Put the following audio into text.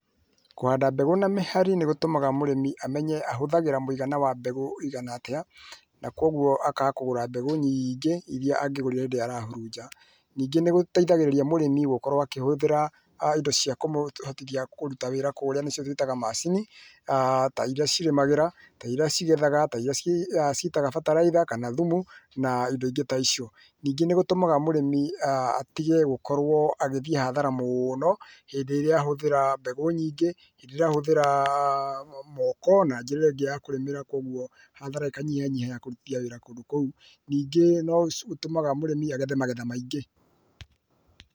Kũhanda mbegũ na mĩhari nĩgũtũmaga mũrĩmi amenye ahũthagĩra mũigana wa mbegũ ihana atĩa na kwoguo akaga kũgũra mbegũ nyingĩ irĩa angĩgũrire hĩndĩ ĩrĩa arahuruja, nĩngĩ nĩgũteithagĩrĩrĩa mũrĩmi gũkorwo akĩhũthĩra[uuh] indo cia kũmũhotithia kũruta wĩra nĩcio twĩtahaga macini[uuhh]ta irĩa cirimagĩra ta irĩa cigethaga, ta irĩa [uuh] citaga bataraitha kana thumu na indo ingĩ ta icio ,ningĩ nĩgũtũmaga mũrĩmi atige gũkorwo agĩthiĩ hathara mũno hĩndĩ ĩrĩa ahũthira mbegũ nyingĩ, hindĩ ĩrĩa ahũthĩra [uuh]moko na njĩra ĩngĩ ya kũrĩmĩra kwoguo hathara ĩkanyihanyiha na kũrũtithia wĩra kũndũ kũu ningĩ nĩgũtũmaga mũrĩmi agethe magetha maingĩ.